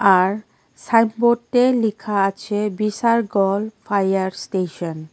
আর লিখা আছে বিসারগর ফাইয়ার স্টেশন ।